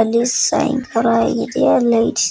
ಅಲ್ಲಿ ಸಾಯಂಕಾಲ ಆಗಿದೆ ಅಲ್ಲಿ ಲೈಟ್ಸ್